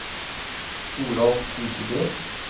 Toralf Husebø